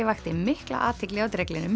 vakti mikla athygli á